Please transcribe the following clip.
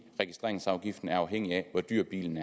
registreringsafgiften er afhængig af hvor dyr bilen